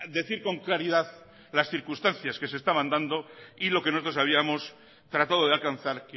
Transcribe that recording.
decir con claridad las circunstancias que se estaban dando y lo que nosotros habíamos tratado de alcanzar